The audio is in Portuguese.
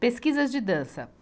Pesquisas de dança.